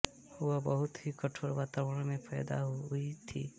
वह बहुत ही कठोर वातावरण में पैदा हुई थी